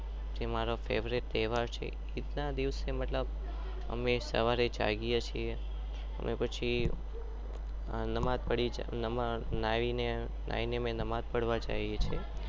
એ મારો તહેવાર છે ઈદ ના દિવસે અમે મતલબ